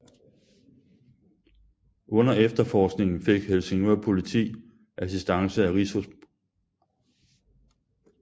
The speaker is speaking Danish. Under efterforskningen fik Helsingør Politi assistance af Rigspolitiets Rejsehold